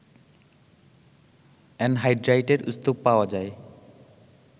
অ্যানহাইড্রাইটের স্তুপ পাওয়া যায়